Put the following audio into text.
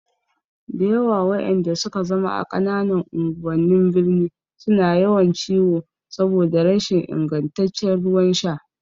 Dayawa waƴanda suke zama a ƙananan unguwannin birni suna yawan ciwo saboda rashin ingantaccen ruwan sha